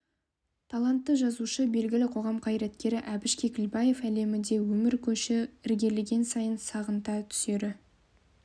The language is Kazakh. талантты жазушы белгілі қоғам қайраткері әбіш кекілбаев әлемі де өмір көші ілгерілеген сайын сағынта түсері